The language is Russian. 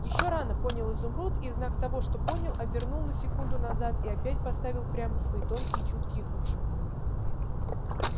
ещё рано понял изумруд и в знак того что понял обернул на секунду назад и опять поставил прямо свои тонкие чуткие уши